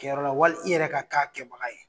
Kɛlɛyɔrɔ la wali i yɛrɛ ka kɛ a kɛbaga ye